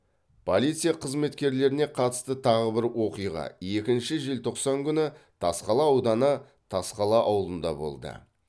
полиция қызметкеріне қатысты тағы бір оқиға екінші желтоқсан күні тасқала ауданы тасқала ауылында болды